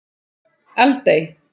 Eldey